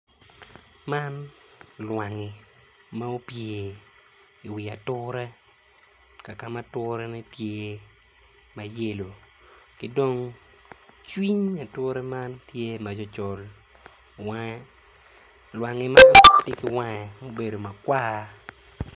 Man lwangi ma opye iwi ature kakama aturene tye ma yelo ki dong cwiny ature man tye macol col wange llwangi man tye ki wange ma obedo makwar.